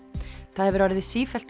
það hefur orðið sífellt